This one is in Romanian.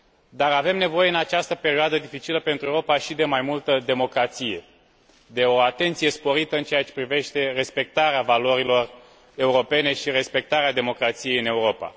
Dar avem nevoie în această perioadă dificilă pentru Europa și de mai multă democrație, de o atenție sporită în ceea ce privește respectarea valorilor europene și respectarea democrației în Europa.